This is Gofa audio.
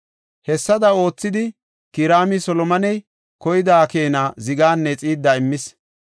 Hessada oothidi Kiraami Solomoney koyida keena ziganne Xiidda immis.